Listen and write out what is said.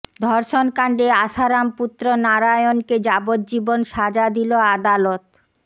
ধর্ষণ কাণ্ডে আসারাম পুত্র নারায়ণকে যাবজ্জীবন সাজা দিল আদালত